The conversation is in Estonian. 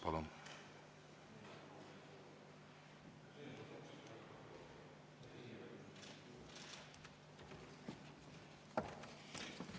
Palun!